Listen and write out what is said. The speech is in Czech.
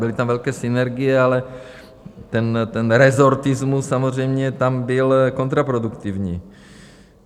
Byly tam velké synergie, ale ten rezortismus samozřejmě tam byl kontraproduktivní.